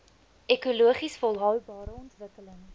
ekologies volhoubare ontwikkeling